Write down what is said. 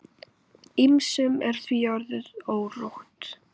Ýmsum er því orðið órótt.